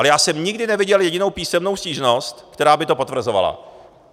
Ale já jsem nikdy neviděl jedinou písemnou stížnost, která by to potvrzovala.